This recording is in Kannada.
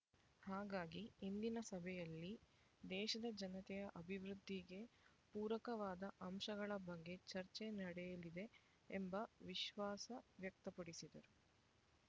ಹಾಗಾಗಿ ಇಂದಿನ ಸಭೆಯಲ್ಲಿ ದೇಶದ ಜನತೆಯ ಅಭಿವೃದ್ಧಿಗೆ ಪೂರಕವಾದ ಅಂಶಗಳ ಬಗ್ಗೆ ಚರ್ಚೆ ನಡೆಯಲಿದೆ ಎಂಬ ವಿಶ್ವಾಸ ವ್ಯಕ್ತಪಡಿಸಿದರು